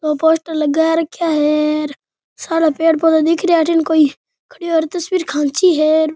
दो पोस्टर लगा रखया है सारे पेड़ पौधा दिख रिया अठीन कोई खड़ी हुई तस्वीर खाची है।